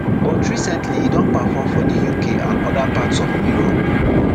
but recently e don perform for di uk and oda parts of europe